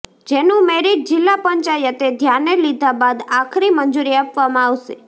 જેનું મેરિટ જિલ્લા પંચાયતે ધ્યાને લીધા બાદ આખરી મંજૂરી આપવામાં આવશે